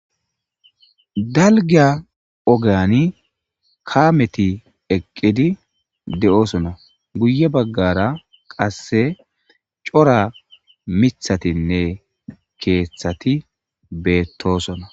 Dalga ogeyani kameti eqidi de'osona guye bagara qase cora mithatinne kethati betosona